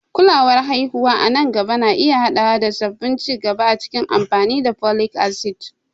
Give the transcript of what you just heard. Kulawar haihuwa a nan gaba na iya haɗawa da sabbin ci gaba a cikin amfani da folic acid.